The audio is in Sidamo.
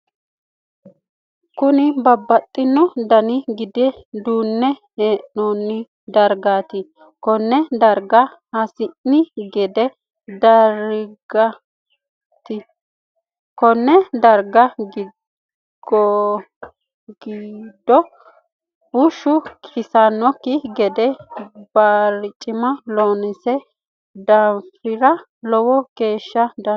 Kunni babbaxino danni gide duune hiranni dargaati konne darga hasi'ni gide dargaati. Konne darga gidoho bushu iilanoki gede barcima loonsoonni daafira lowo geesha danchaho.